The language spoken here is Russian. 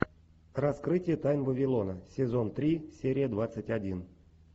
раскрытие тайн вавилона сезон три серия двадцать один